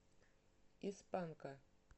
из панка